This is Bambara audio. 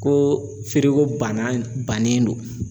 Ko feereko banna bannen don.